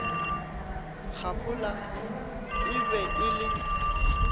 kgaphola e be e le